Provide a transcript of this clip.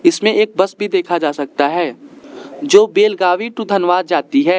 इसमें एक बस भी देखा जा सकता है जो बेलगावी टू धनबाद जाती है।